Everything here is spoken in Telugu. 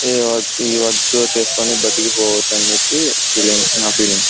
ఈ ఈ వర్క్ చేసి చేసుకుని బతికిపోవచ్చు అని చెప్పి నా ఫీలింగ్ .